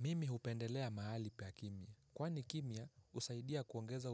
Mimi hupendelea mahali pa kimya. Kwani kimya husaidia kuongeza